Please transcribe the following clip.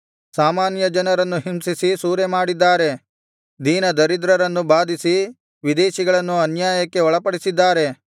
ಸಾಮಾನ್ಯ ಜನರನ್ನು ಹಿಂಸಿಸಿ ಸೂರೆಮಾಡಿದ್ದಾರೆ ದೀನದರಿದ್ರರನ್ನು ಬಾಧಿಸಿ ವಿದೇಶಿಗಳನ್ನು ಅನ್ಯಾಯಕ್ಕೆ ಒಳಪಡಿಸಿದ್ದಾರೆ